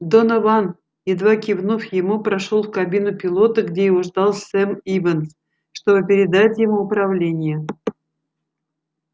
донован едва кивнув ему прошёл в кабину пилота где его ждал сэм ивенс чтобы передать ему управление